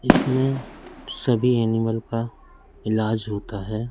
इसमें सभी एनिमल का इलाज होता है।